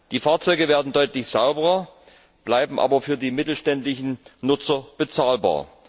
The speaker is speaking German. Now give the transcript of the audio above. Die Fahrzeuge werden deutlich sauberer, bleiben aber für die mittelständischen Nutzer bezahlbar.